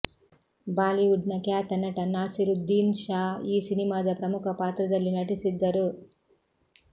Bollywood ನ ಖ್ಯಾತ ನಟ ನಾಸಿರುದ್ಧೀನ್ ಷಾ ಈ ಸಿನಿಮಾದ ಪ್ರಮುಖ ಪಾತ್ರದಲ್ಲಿನಟಿಸಿದ್ದರು